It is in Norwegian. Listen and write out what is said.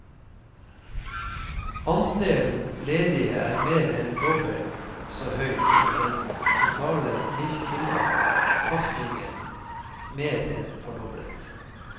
Andelen ledige er mer enn dobbelt så høy og den totale mistilpasningen mer enn fordoblet.